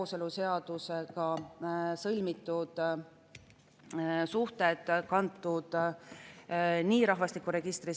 Esimene lugemine lõpetati 22. mail 2023. aastal ja muudatus tähtajaks 5. juuni.